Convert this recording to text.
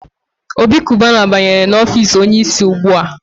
Obi Kubana banyere n'ọfici onye isi ugbua.